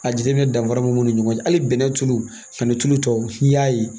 A jateminɛ danfara b'u ni ɲɔgɔn cɛ hali bɛnɛ tulu ani tulu tɔw n'i y'a ye